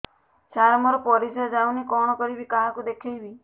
ସାର ମୋର ପରିସ୍ରା ଯାଉନି କଣ କରିବି କାହାକୁ ଦେଖେଇବି